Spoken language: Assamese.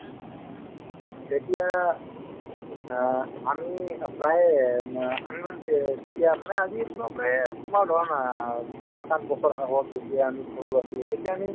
তেতিয়া অ আমি প্ৰায়ে উম অ আমি মানে তে যেতিয়া মানে আজি চবে তোমাৰ ধৰা না সাত আঠ বছৰ আগত যেতিয়া আমি সৰু আছিলো তেতিয়া আমি